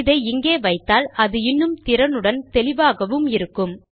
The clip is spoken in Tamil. இதை இங்கே வைத்தால் அது இன்னும் திறனுடனும் தெளிவாகவும் இருக்கும்